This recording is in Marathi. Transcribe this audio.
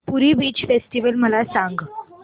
पुरी बीच फेस्टिवल मला सांग